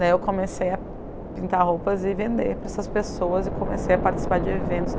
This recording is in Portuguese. Daí eu comecei a pintar roupas e vender para essas pessoas e comecei a participar de eventos.